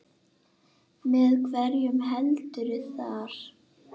Með hverjum heldurðu þar?